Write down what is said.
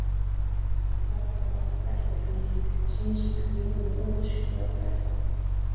Varla var það fætt í þennan heim til þess eins að glíma við óútskýrða fötlun?